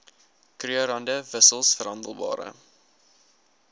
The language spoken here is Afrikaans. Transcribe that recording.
krugerrande wissels verhandelbare